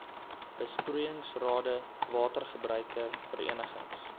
besproeiingsrade watergebruiker verenigings